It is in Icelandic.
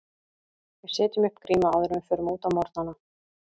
Við setjum upp grímu áður en við förum út á morgnana.